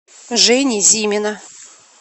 жени зимина